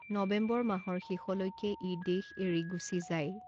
নৱেম্বৰ মাহৰ শেষলৈকে ই দেশ এৰি গুচি যায়।